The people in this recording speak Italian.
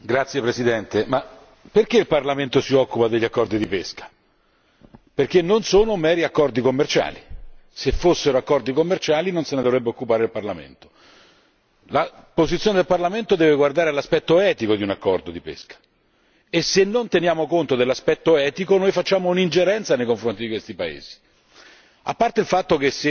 Signor Presidente, onorevoli colleghi, ma, perché il Parlamento si occupa degli accordi di pesca? Perché non sono meri accordi commerciali! Se fossero accordi commerciali non se ne dovrebbe occupare il Parlamento. La posizione del Parlamento deve guardare l'aspetto etico di un accordo di pesca e se non teniamo conto dell'aspetto etico noi facciamo un'ingerenza nei confronti di questi paesi.